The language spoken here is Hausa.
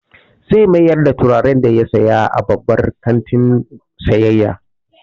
Zai mayar da turaren da ya saya a babban kantin sayayya.